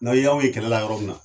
N'a y'aw ye kɛlɛ la yɔrɔ min na